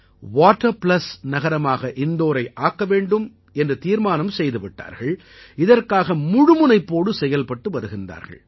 water plus நகரமாக இந்தோரை ஆக்க வேண்டும் என்று தீர்மானம் செய்துவிட்டார்கள் இதற்காக முழு முனைப்போடு செயல்பட்டு வருகிறார்கள்